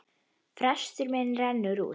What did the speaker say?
Frestur minn rennur út.